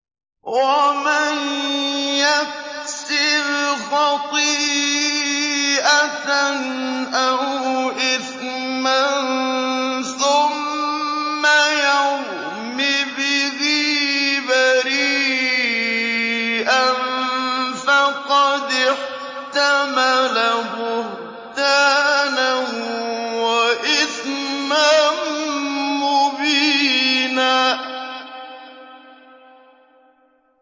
وَمَن يَكْسِبْ خَطِيئَةً أَوْ إِثْمًا ثُمَّ يَرْمِ بِهِ بَرِيئًا فَقَدِ احْتَمَلَ بُهْتَانًا وَإِثْمًا مُّبِينًا